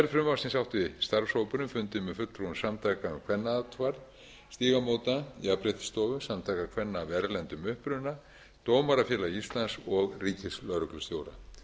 frumvarpsins átti starfshópurinn fundi með fulltrúum samtaka um kvennaathvarf stígamóta jafnréttisstofu samtaka kvenna af erlendum uppruna dómarafélags íslands og ríkislögreglustjóra